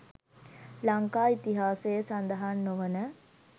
ලංකා ඉතිහාසයේ සඳහන් නොවන